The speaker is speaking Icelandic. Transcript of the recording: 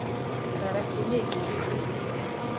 Það er ekki mikið dýpi.